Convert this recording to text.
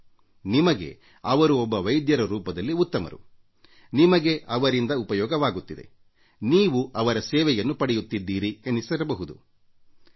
ನಿಮಗೆ ಅವರು ಒಬ್ಬ ವೈದ್ಯರ ರೂಪದಲ್ಲಿ ಉತ್ತಮರು ನಿಮಗೆ ಅವರಿಂದ ಉಪಯೋಗವಾಗುತ್ತಿದೆ ಎಂದುನೀವು ಅವರು ನೀಡುವ ಚಿಕಿತ್ಸೆಯನ್ನು ಪಡೆಯುತ್ತಿದ್ದೀರಿ ಅವರ ಸೇವೆಯನ್ನು ಪಡೆಯುತ್ತಿದ್ದೀರಿ